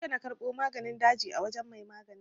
Jiya na karɓo maganin daji a wajen mai maganin.